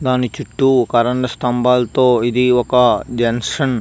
దాని చుట్టూ కరెంట్ స్తంబాలతో ఇది ఒక జంక్షన్ .